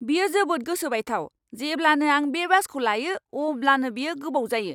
बेयो जोबोद गोसो बायथाव! जेब्लानो आं बे बासखौ लायो, अब्लानो बेयो गोबाव जायो।